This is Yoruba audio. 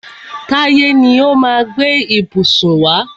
Táyé ni ó má a gbé ìbùsùn wá.